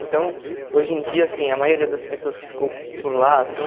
Então, hoje em dia, assim, a maioria das pessoas que ficou por lá, assim...